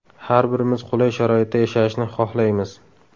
Har birimiz qulay sharoitda yashashni xohlaymiz.